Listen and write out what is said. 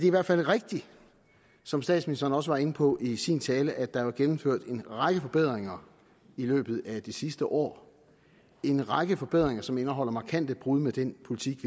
i hvert fald rigtigt som statsministeren også var inde på i sin tale at der er gennemført en række forbedringer i løbet af det sidste år en række forbedringer som indeholder markante brud med den politik